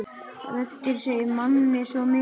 Röddin segir manni svo mikið.